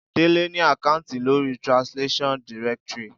Délé ni àkáùntì lórí Translation. directory.